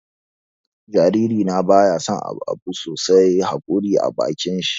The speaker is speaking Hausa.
Jariri na baya son abun sosa haƙori a bakin shi.